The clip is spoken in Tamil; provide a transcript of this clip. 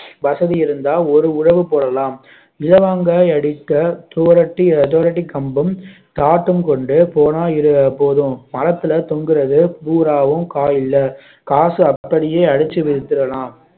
வசதி இருந்தால் ஒரு உழவு போடலாம் இலவங்காய் அடிக்க சுவரொட்டி சுவரொட்டி கம்பம் காட்டம் கொண்டு போனால் போதும் மரத்துல தொங்குறது பூராவும் காய் இல்ல காசு அப்படியே அடைச்சு வச்சிடலாம்